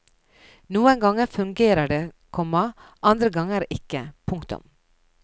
Noen ganger fungerer det, komma andre ganger ikke. punktum